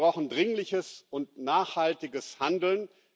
Wir brauchen dringliches und nachhaltiges Handeln.